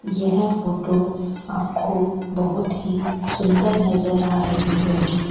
यह फोटो आपको बहोत ही सुंदर नजर आ रही होगी।